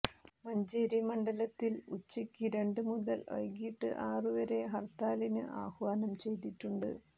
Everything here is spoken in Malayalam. മഞ്ചേരി മണ്ഡലത്തിൽ ഉച്ചക്ക് രണ്ട് മുതൽ വൈകീട്ട് ആറ് വരെ ഹർത്താലിന് ആഹ്വാനം ചെയ്തിട്ടുണ്ട്